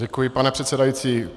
Děkuji, pane předsedající.